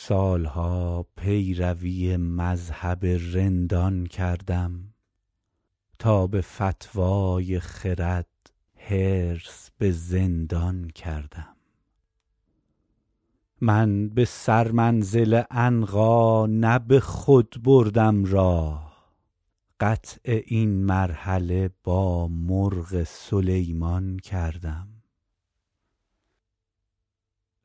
سال ها پیروی مذهب رندان کردم تا به فتوی خرد حرص به زندان کردم من به سرمنزل عنقا نه به خود بردم راه قطع این مرحله با مرغ سلیمان کردم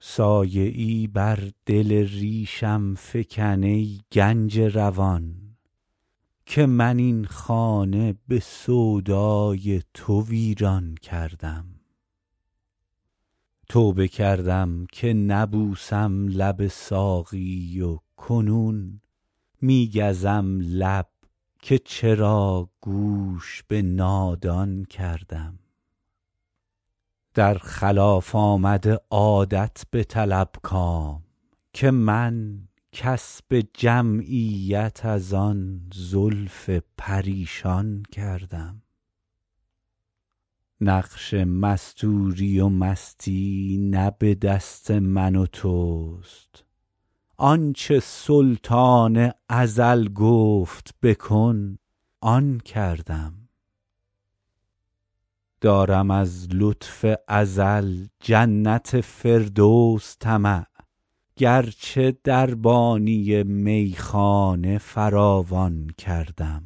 سایه ای بر دل ریشم فکن ای گنج روان که من این خانه به سودای تو ویران کردم توبه کردم که نبوسم لب ساقی و کنون می گزم لب که چرا گوش به نادان کردم در خلاف آمد عادت بطلب کام که من کسب جمعیت از آن زلف پریشان کردم نقش مستوری و مستی نه به دست من و توست آن چه سلطان ازل گفت بکن آن کردم دارم از لطف ازل جنت فردوس طمع گرچه دربانی میخانه فراوان کردم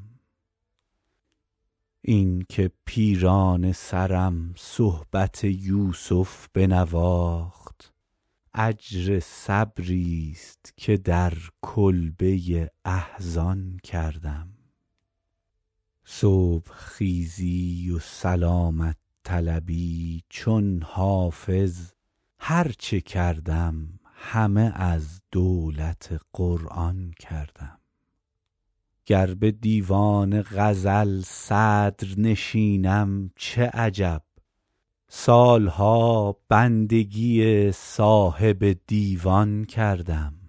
این که پیرانه سرم صحبت یوسف بنواخت اجر صبریست که در کلبه احزان کردم صبح خیزی و سلامت طلبی چون حافظ هر چه کردم همه از دولت قرآن کردم گر به دیوان غزل صدرنشینم چه عجب سال ها بندگی صاحب دیوان کردم